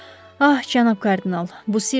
Ah, cənab kardinal, bu sirdir.